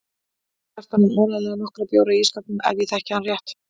Kjartan á áreiðanlega nokkra bjóra í ísskápnum ef ég þekki hann rétt.